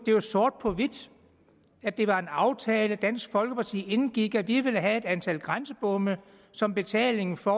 jo sort på hvidt at det var en aftale dansk folkeparti indgik de ville have et antal grænsebomme som betaling for